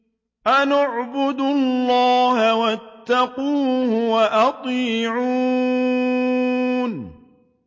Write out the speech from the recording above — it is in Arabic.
أَنِ اعْبُدُوا اللَّهَ وَاتَّقُوهُ وَأَطِيعُونِ